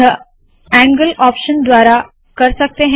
यह angle option द्वारा कर सकते है